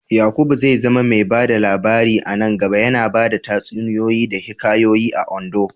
Yakubu zai zama mai ba da labari a nan gaba, yana bada tatsuniyoyi da hikayoyi a Ondo.